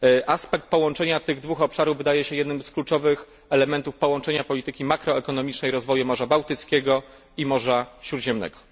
Aspekt połączenia tych dwóch obszarów wydaje się jednym z kluczowych elementów połączenia polityki makroekonomicznej rozwoju Morza Bałtyckiego i Morza Śródziemnego.